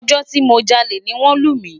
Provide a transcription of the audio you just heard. Ojo ti mo jale ni won lu mi